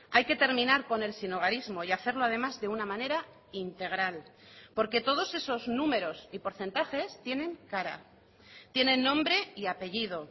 hay que terminar con el sinhogarismo y hacerlo además de una manera integral porque todos esos números y porcentajes tienen cara tienen nombre y apellido